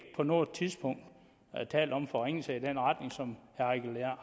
på noget tidspunkt talt om forringelser i den retning som herre eigil